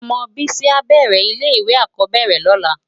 Òmò Bisi á bèrè ilè iwé ákòóbèrè lòlá